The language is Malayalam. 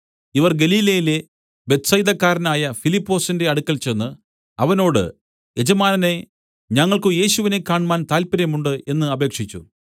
ഇവർ ഗലീലയിലെ ബേത്ത്സയിദക്കാരനായ ഫിലിപ്പൊസിന്റെ അടുക്കൽ ചെന്ന് അവനോട് യജമാനനേ ഞങ്ങൾക്കു യേശുവിനെ കാണ്മാൻ താല്പര്യമുണ്ട് എന്നു അപേക്ഷിച്ചു